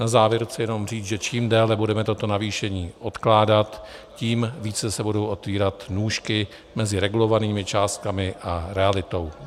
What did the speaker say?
Na závěr chci jenom říct, že čím déle budeme toto navýšení odkládat, tím více se budou otvírat nůžky mezi regulovanými částkami a realitou.